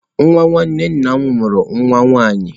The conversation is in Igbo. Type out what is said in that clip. Nwa nwanne nna m mụrụ nwa nwaanyị.